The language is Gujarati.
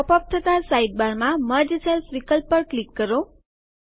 પોપ અપ થતા સાઇડબારમાં મર્જ સેલ્સ વિકલ્પ પર ક્લિક કરો